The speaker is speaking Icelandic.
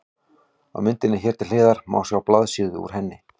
Á myndinni hér til hliðar má sjá blaðsíðu úr henni.